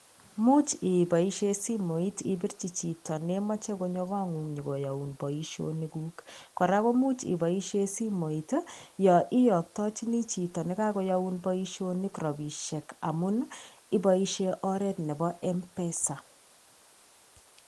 Much iboishe simoit ibirchi chito ne mache konyo kongung nyo koyoun boisionikuk, kora komuch iboisie simoit ii, yo iyoktochini chito ne kakoyoun boisionik rabiisiek amun iboisie oret nebo M-pesa.